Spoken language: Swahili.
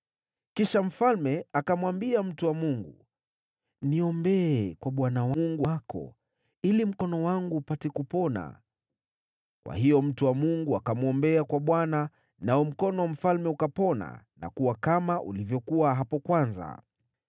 Kisha mfalme akamwambia mtu wa Mungu, “Niombee kwa Bwana Mungu wako ili mkono wangu upate kupona.” Kwa hiyo mtu wa Mungu akamwombea kwa Bwana , nao mkono wa mfalme ukapona na kuwa kama ulivyokuwa hapo kwanza.